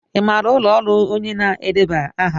Ị maara ụlọ ọrụ onye na-edeba aha?